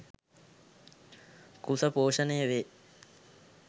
කුස පෝෂණය වේ.